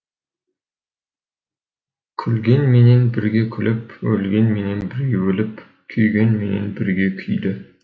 күлгенменен бірге күліп өлгенменен бірге өліп күйгенменен бірге күйді